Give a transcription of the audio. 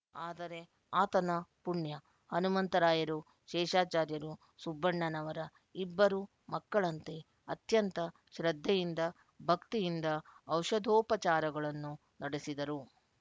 ಅದರೆ ಆತನ ಪುಣ್ಯ ಹನುಮಂತರಾಯರು ಶೇಷಾಚಾರ್ಯರು ಸುಬ್ಬಣ್ಣನವರ ಇಬ್ಬರು ಮಕ್ಕಳಂತೆ ಅತ್ಯಂತ ಶ್ರದ್ಧೆಯಿಂದ ಭಕ್ತಿಯಿಂದ ಔಪಧೋಪಚಾರಗಳನ್ನು ನಡೆಸಿದರು